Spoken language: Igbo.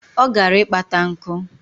Ọ gara ịkpata nkụ